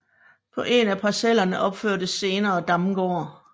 På en af parcellerne opførtes senere Damgård